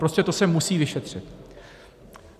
Prostě to se musí vyšetřit!